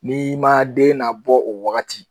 N'i man den nabɔ o wagati